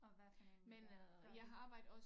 Og hvad for en øh har du